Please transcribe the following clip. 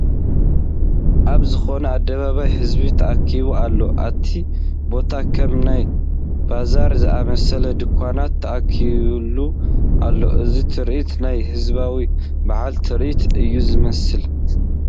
ኣብ ዝኾነ ኣደባባይ ህዝቢ ተኣኪቡ ኣሎ፡፡ ኣቲ ቦታ ከም ናይ ባዛር ዝኣምሰሉ ድንዃናት ተተኺሎም ኣለዉ፡፡ እዚ ትርኢት ናይ ህዝባዊ በዓል ትርኢት እዩ ዝመስል፡፡